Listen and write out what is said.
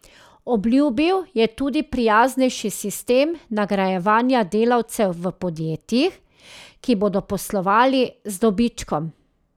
Obljubil je tudi prijaznejši sistem nagrajevanja delavcev v podjetjih, ki bodo poslovala z dobičkom.